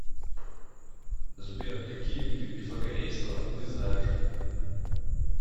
сбер какие виды пифагорейство ты знаешь